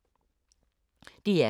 DR K